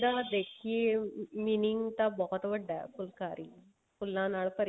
ਦਾ ਦੇਖੀਏ ਤਾਂ meaning ਬਹੁਤ ਵੱਡਾ ਫੁਲਕਾਰੀ ਫੁੱਲਾਂ ਨਾਲ ਭਰੀ